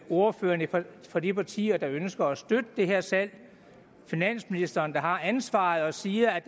ordførerne for de partier der ønsker at støtte det her salg og finansministeren der har ansvaret og siger at